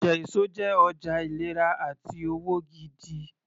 Ọjà èso jẹ́ ọjà ìlera àti òwò gidi